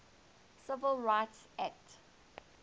civil rights act